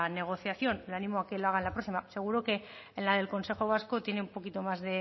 negociación le animo a que lo haga en la próxima seguro que en la del consejo vasco tiene un poquito más